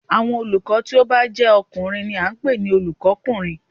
Àwọn olùkọ́ tí ó bá jé ọkùnrin ni a n pè ní Olùkó kùnrin